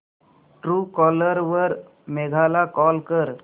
Truecaller वर मेघा ला call कर